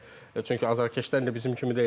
Yəni çünki azarkeşlər indi bizim kimi deyildi.